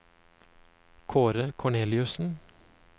Kaare Korneliussen